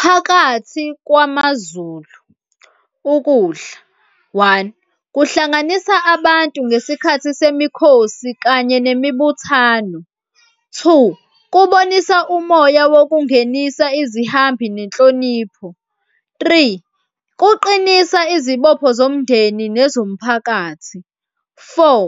phakathi kwamaZulu, ukudla, one kuhlanganisa abantu ngesikhathi semikhosi kanye nemibuthano. Two, kubonisa umoya wokungenisa, izihambi nenhlonipho. Three, kuqinisa izibopho zomndeni nezomphakathi. Four,